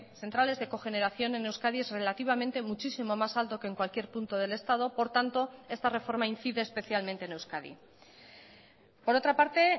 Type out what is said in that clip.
centrales de cogeneración en euskadi es relativamente muchísimo más alto que en cualquier punto del estado por tanto esta reforma incide especialmente en euskadi por otra parte